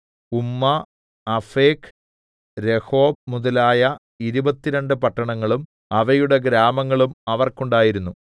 ഉമ്മ Aphek Rehob മുതലായ ഇരുപത്തിരണ്ട് പട്ടണങ്ങളും അവയുടെ ഗ്രാമങ്ങളും അവർക്കുണ്ടായിരുന്നു